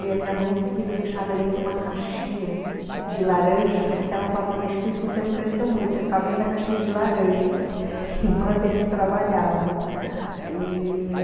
E a minha mãe diz que me deixava dentro de uma caixinha de laranja, até ela fala para mim, acho que foi por isso que você não cresceu muito, você ficava dentro da caixinha de laranja , enquanto eles trabalhavam e